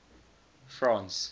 france